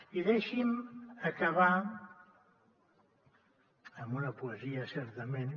i deixi’m acabar amb una poesia certament